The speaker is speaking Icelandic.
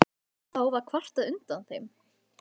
Og þá var kvartað undan þeim.